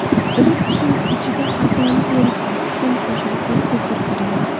Iliq suv ichida asalni eriting, tuxum qo‘shing va ko‘pirtiring.